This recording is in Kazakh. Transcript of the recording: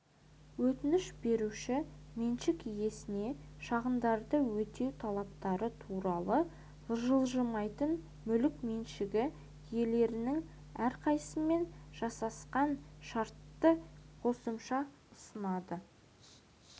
өтініш беруші меншік иесіне шығындарды өтеу талаптары туралы жылжымайтын мүлік меншігі иелерінің әрқайсысымен жасасқан шартты қосымша ұсынады